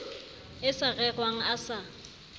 e sa rerwang a sa